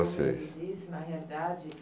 de vocês como ele disse, na realidade,